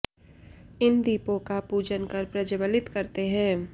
इन दीपोंका पूजन कर प्रज्वलित करते हैं